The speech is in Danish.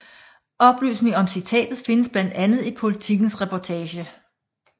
Oplysningen om citatet findes blandt andet i Politikens reportage